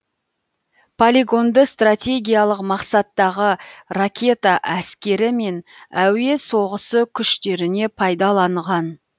полигонды стратегиялық мақсаттағы ракета әскері мен әуе соғысы күштеріне пайдаланған